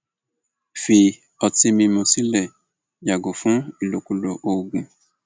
fi ọtí mímu sílẹ yàgò fún ìlòkulò oògùn